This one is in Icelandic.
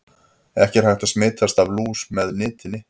Ekki er hægt að smitast af lús með nitinni.